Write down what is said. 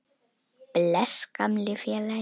Bless, gamli félagi.